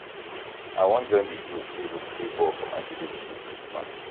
i wan join di group wey go play ball for my village dis christmas